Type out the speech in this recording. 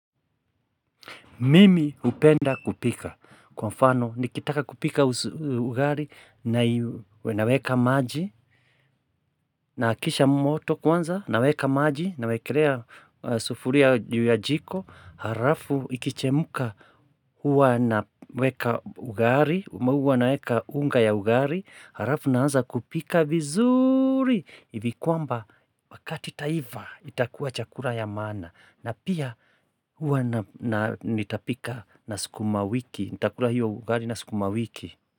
Mimi hupenda kupika kwa mfano nikitaka kupika ugali naweka maji naakisha moto kwanza naweka maji nawekelea sufuria juu ya jiko halafu ikichemka huwa naweka ugali huwa naeka unga ya ugali halafu naanza kupika vizuri Ivi kwamba wakati itaiva itakuwa chakula ya maana na pia huwa nitapika na skuma wiki nitakula hiyo ugai na skuma wiki.